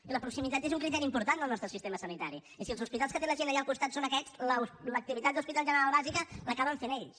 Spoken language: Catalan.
i la proximitat és un criteri important del nostre sistema sanitari i si els hospitals que té la gent allà al costat són aquests l’activitat d’hospital general bàsica l’acaben fent ells